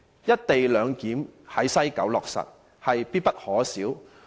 因此，落實在西九"一地兩檢"，必不可少。